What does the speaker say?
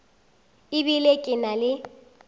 e bile ke na le